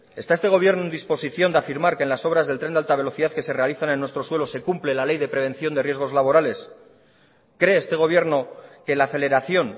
está este gobierno en disposición de afirmar que en las obras del tren de alta velocidad que se realizan en nuestro suelo se cumple la ley de prevención de riesgos laborales cree este gobierno que la aceleración